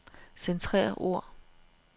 Centrer ord.